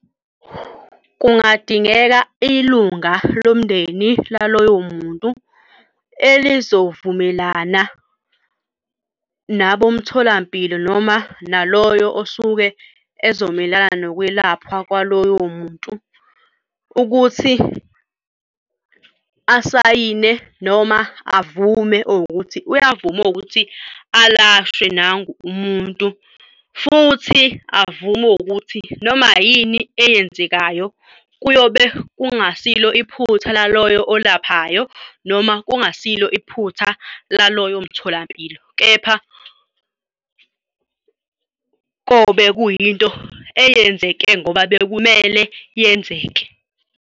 Kungadingeka ilunga lomndeni laloyo muntu elizovumelana nabomtholampilo noma naloyo osuke ezomela nokwelapha kwaloyo muntu ukuthi asayine noma avume or ukuthi uyavuma ukuthi alashwe nangu umuntu futhi avume ukuthi noma yini eyenzekayo, kuyobe kungasilo iphutha laloyo olaphanayo noma kungasilo iphutha laloyo mtholampilo. Kepha kobe kuyinto eyenzeke ngoba bekumele yenzeke.